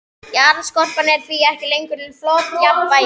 Jarðskorpan er því ekki lengur í flotjafnvægi.